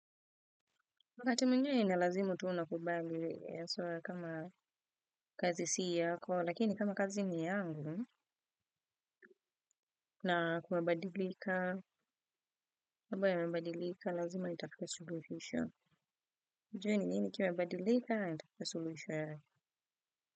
Wakati mwingine inalazimu tunakubali kama kazi siya yako lakini kama kazi ni yangu na kunabadilika mambo yamebadikika lazima nutafute suluhisho ujue ni nini kimebadilika itafika soluhisho yake.